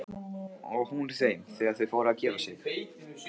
Og hún þeim þegar þau fóru að gefa sig.